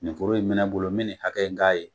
Nin foro in bi ne bolo mi nin hakɛ in k'a ye.